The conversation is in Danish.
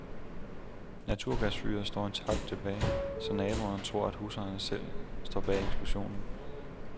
Naturgasfyret står intakt tilbage, så naboer tror, at husejer selv står bag eksplosionen.